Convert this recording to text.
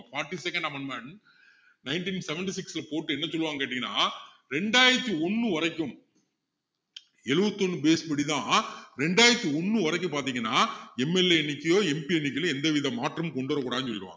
forty second amendment ninteen seventy-six ல போட்டு என்ன சொல்லுவாங்கன்னு கேட்டீங்கன்னா ரெண்டாயிரத்து ஒண்ணு வரைக்கும் எழுபத்தி ஒண்ணு base படிதான் ரெண்டாயிரத்து ஒண்ணு வரைக்கும் பாத்திங்கன்னா MLA எண்ணிக்கையிலோ MP எண்ணிக்கையிலோ எந்தவித மாற்றமும் கொண்டுவர கூடாதுன்னு சொல்லிடுவாங்க